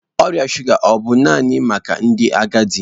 Ọrịa shuga ọ bụ naanị maka ndị agadi?